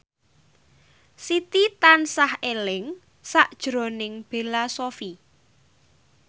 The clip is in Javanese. Siti tansah eling sakjroning Bella Shofie